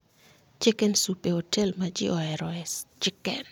Chicken Soup e otel ma ji oheroe chicken